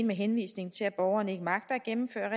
med henvisning til at borgeren ikke magter at gennemføre